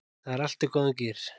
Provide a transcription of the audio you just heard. Það er allt í góðum gír